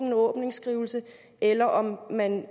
en åbningsskrivelse eller om man